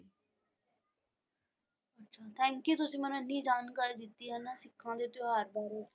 Thank you ਤੁਸੀਂ ਮੈਨੂੰ ਐਨੀ ਜਾਣਕਾਰੀ ਦਿੱਤੀ ਹੈ ਨਾ ਸਿੱਖਾਂ ਦੇ ਤਿਉਹਾਰ ਬਾਰੇ।